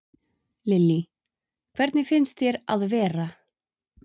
Lillý: Hvernig finnst þér að vera?